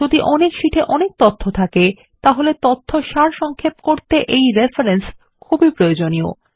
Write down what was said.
যদি অনেক শীটে অনেক তথ্য থাকে তাহলে তথ্য সারসংক্ষেপ করতে রেফরেন্স খুব প্রয়োজনীয়